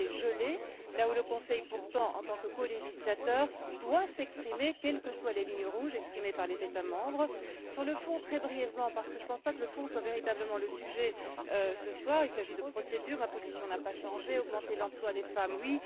Le dossier est gelé, alors que le Conseil, en tant que colégislateur, est tenu de prendre position, quelles que soient les lignes rouges tracées par les États membres. Sur le fond très brièvement, parce que je ne pense pas que le fond soit véritablement le sujet ce soir, il s'agit ici de procédures ma position n'a pas changé augmenter l'emploi des femmes, oui